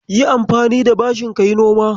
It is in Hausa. Yi anfani da bashin ka yi noma.